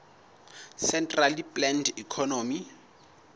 centrally planned economy